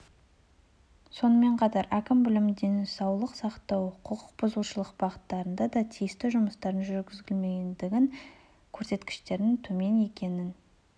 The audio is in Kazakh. сонымен қатар әкім білім денсаулық сақтау құқық бұзушылық бағыттарында да тиісті жұмыстардың жүргізілмегендігінен көрсеткіштердің төмен екенін